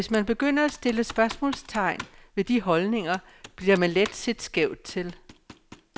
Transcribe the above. Hvis man begynder at stille spørgsmålstegn ved de holdninger, bliver man let set skævt til.